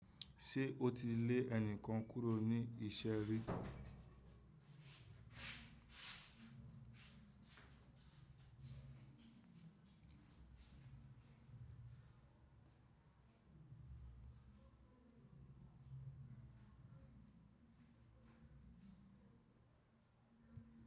Ṣé ó ti lé ẹnìkan kúrò ní ìṣẹ́ rí?